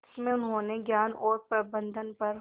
इसमें उन्होंने ज्ञान और प्रबंधन पर